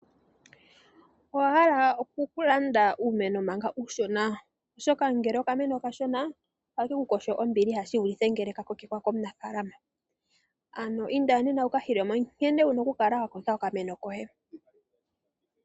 Owa hala oku landa uumeno manga uushona oshoka ngele okameno okashona ake kukosho ombiliha shi vulithe ngele ka kokekwa komunafaalama ano inda nena wukahile mo nkene wuna oku kokeka okameno koye.